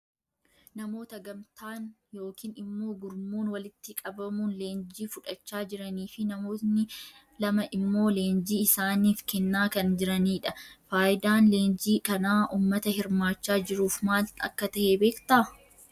Namoota gamtaan yookiin immoo gurmuun walitti qabamuun leenjii fudhachaa jiranii fi namoonni lama immoo leenjii isaaniif kennaa kan jiranii dha. Faayidaan leenjii kanaa uummata hirmaachaa jiruuf maal akka tahe beektaa?